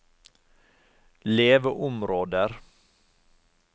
leveområder